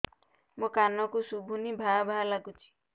ମୋ କାନକୁ ଶୁଭୁନି ଭା ଭା ଲାଗୁଚି